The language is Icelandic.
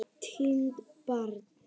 Týnt barn